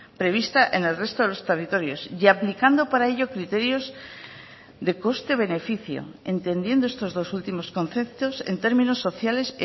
prevista en el resto de los territorios y aplicando para ello criterios de coste beneficio entendiendo estos dos últimos conceptos en términos sociales